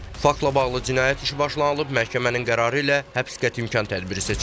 Faktla bağlı cinayət işi başlanılıb, məhkəmənin qərarı ilə həbs qəti imkan tədbiri seçilib.